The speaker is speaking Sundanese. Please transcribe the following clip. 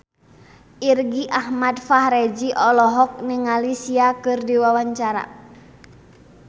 Irgi Ahmad Fahrezi olohok ningali Sia keur diwawancara